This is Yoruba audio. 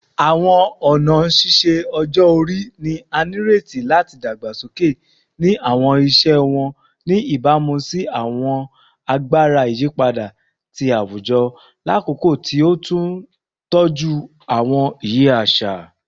Awọn ọna ṣiṣe ọjọ-ori ni a nireti lati dagbasoke ni awọn iṣẹ wọn, ni ibamu si awọn agbara iyipada ti awujọ lakoko ti o tun tọju awọn iye aṣa